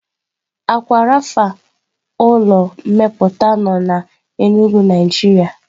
Aqua rapha ulọ mmeputa nọ na Enugu Naijiria